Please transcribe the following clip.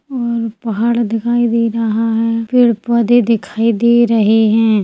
और पहाड़ दिखाई दे रहा है पेड़-पौधे दिखाई दे रहे है।